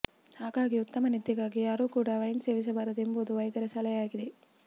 ಹಾಗಾಗಿ ಉತ್ತಮ ನಿದ್ದೆಗಾಗಿ ಯಾರೂ ಕೂಡ ವೈನ್ ಸೇವಿಸಬಾರದು ಎಂಬುದು ವೈದ್ಯರ ಸಲಹೆಯಾಗಿದೆ